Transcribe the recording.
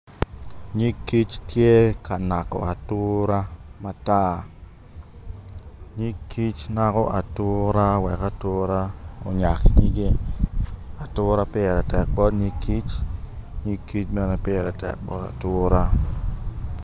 Nyig tye ka nako atura matar nyig kic nako atura wek o onyak nyige atura pire tek bot kic nyig kic bene pire tek bot atura